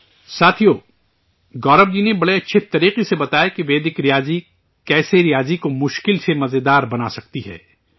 ساتھیو، گورو جی نے بڑے اچھے طریقے سے بتایا کہ ویدک میتھ کیسے ریاضی کو مشکل سے مزیدار بنا سکتاہ ے